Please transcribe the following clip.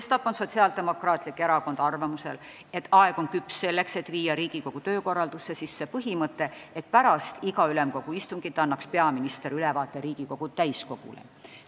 Sestap on Sotsiaaldemokraatlik Erakond arvamusel, et aeg on küps selleks, et kehtestada Riigikogu töökorralduses põhimõte, et pärast iga Ülemkogu istungit annab peaminister ülevaate Riigikogu täiskogule.